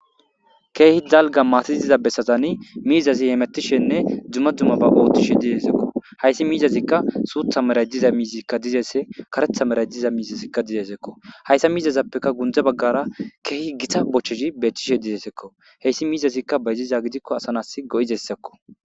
keehi dalga maatiziza bessatani miizazi heemettishenne dzumma dumma ba oothtishe dizeesekko hayssi miizazikka suutha meray diza miizikka dizeese karetha meray diza miizasikka dizeesekko hayssa miizazappeka gundze baggara keehi gita bocheshi beethchishe dizeesekko heyssi miizazikka bayziza gidikko asanas go7izessekko